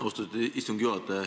Austatud istungi juhataja!